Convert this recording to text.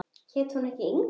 Hét hún ekki Inga?